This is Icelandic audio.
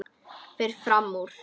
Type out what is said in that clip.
Fer fram úr.